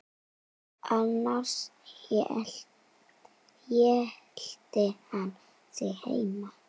Annars hélt hann sig heima.